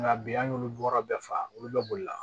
Nka bi an y'olu bɔra bɛɛ faga olu bɛ boli la